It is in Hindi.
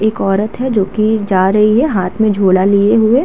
एक औरत है जोकि जा रही है हाथ में झोला लिए हुये।